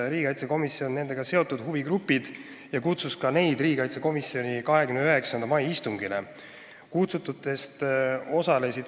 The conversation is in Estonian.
Riigikaitsekomisjon tuvastas nendega seotud huvigrupid ja kutsus ka neid riigikaitsekomisjoni 29. mai istungile.